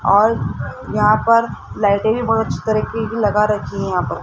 और यहां पर लाइटें भी बहुत अच्छी तरीके की लगा रखी हैं यहां पर।